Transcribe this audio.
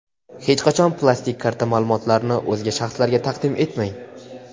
Hech qachon plastik karta ma’lumotlarini o‘zga shaxslarga taqdim etmang!.